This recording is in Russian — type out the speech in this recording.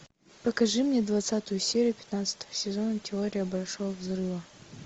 покажи мне двадцатую серию пятнадцатого сезона теория большого взрыва